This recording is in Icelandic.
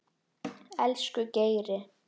Elsku Geiri.